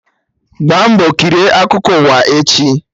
Gbaa mbọ kirie akụkọ ụwa echi!